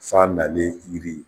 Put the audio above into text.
San nalen yiri